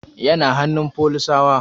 Yana hannun folisawa